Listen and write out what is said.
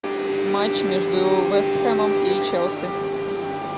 матч между вест хэмом и челси